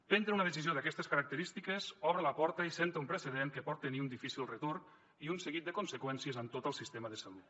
prendre una decisió d’aquestes característiques obre la porta i assenta un precedent que pot tenir un difícil retorn i un seguit de conseqüències en tot el sistema de salut